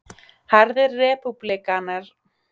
Harðir repúblikanar fyrirlíta einmitt þær umbætur